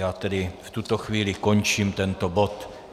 Já tedy v tuto chvíli končím tento bod.